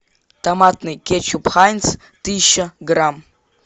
томатный кетчуп хайнц тысяча грамм